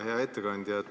Hea ettekandja!